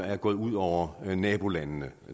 er gået ud over nabolandene